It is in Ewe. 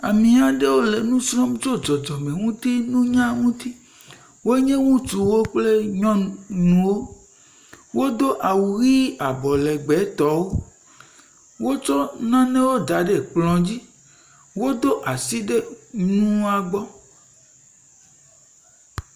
Ame aɖewo le nu srɔ̃m tso dzɔdzɔmenutinunya ŋuti. Wo nye ŋutsuwo kple nyɔnuwo. Wodo awu ʋi abɔlegbetɔwo. Wotsɔ nanaewo da ɖe kplɔ dzi. Wodo asi ɖe nua gbɔ.